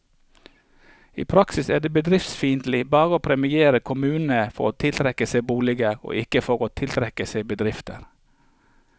I praksis er det bedriftsfiendtlig bare å premiere kommunene for å tiltrekke seg boliger, og ikke for å tiltrekke seg bedrifter.